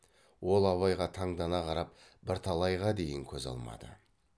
ол абайға таңдана қарап бірталайға дейін көз алмады